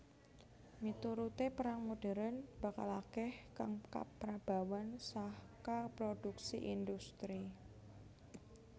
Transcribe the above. Miturute perang modern bakal akeh kang kaprabawan saka prodhuksi industri